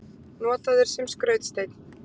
Notaður sem skrautsteinn.